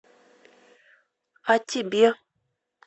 а тебе